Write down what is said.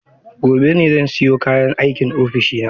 Gobe ​​zan siyo kayan aikin ofishina.